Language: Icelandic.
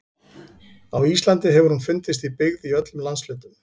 Á Íslandi hefur hún fundist í byggð í öllum landshlutum.